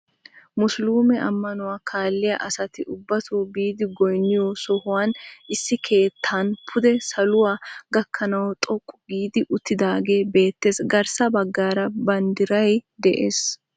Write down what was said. Musuluume ammanuwaa kaalliyaa asati ubbatoo biidi goynniyoo sohuwaan issi keettan pude saluwaa gakkanawu xooqqu giidi uttidagee beettees. garssa baggaara banddiray de'ees.